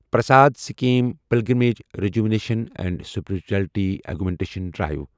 Prasad Sikkim pilgrimage rejuvenation and spirituality augmentation drive